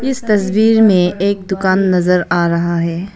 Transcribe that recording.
इस तस्वीर में एक दुकान नजर आ रहा है।